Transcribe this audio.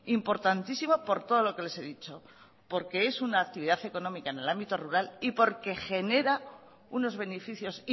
importantísimo por todo lo que les he dicho porque es una actividad económica en el ámbito rural y porque genera unos beneficios